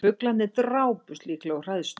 Fuglar drápust líklega úr hræðslu